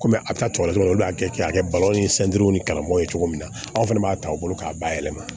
Komi a bɛ taa tɔkɔ la olu b'a kɛ k'a kɛ balo ni ni kalabɔ ye cogo min na aw fana b'a ta u bolo k'a ba yɛlɛma